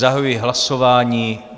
Zahajuji hlasování.